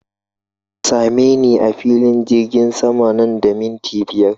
Ka same ni a filin jirgin sama nan da minti biyar!